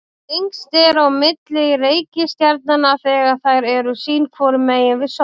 lengst er á milli reikistjarnanna þegar þær eru sín hvoru megin við sól